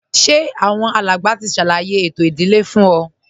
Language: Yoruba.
Ṣé àwọn alàgbà ti ṣàlàyé ààtò ìdílé fún ọ